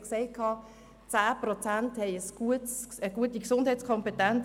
10 Prozent der Bevölkerung verfügen in der Schweiz über eine gute Gesundheitskompetenz.